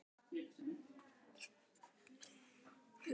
Óbrotinn fótgönguliði í her guðs almáttugs.